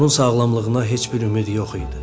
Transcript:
Onun sağlamlığına heç bir ümid yox idi.